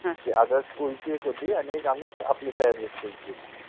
कि आदर्श school चि एक होति आणी एक आपलि सह्याद्रि school चि होति